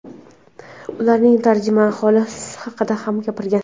ularning tarjimai holi haqida ham gapirgan.